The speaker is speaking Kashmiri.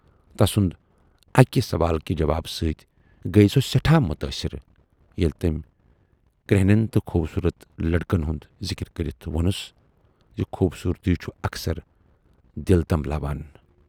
تسُند اکہِ سوالکہِ جوابہٕ سۭتۍ گٔیۍ سۅ سٮ۪ٹھاہ مُتٲثِر ییلہِ تٔمۍ کرہنٮ۪ن تہٕ خوبصوٗرت لٔڑکن ہُند ذِکِر کٔرِتھ وونُس زِ"خوٗبصورتی چھُ اکثر دِل تَنبلاوان۔